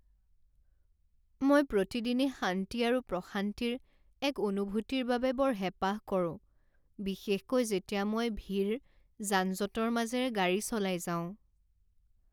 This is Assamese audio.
মই প্ৰতিদিনে শান্তি আৰু প্ৰশান্তিৰ এক অনুভূতিৰ বাবে বৰ হেঁপাহ কৰোঁ বিশেষকৈ যেতিয়া মই ভিৰ যান জঁটৰ মাজেৰে গাড়ী চলাই যাওঁ।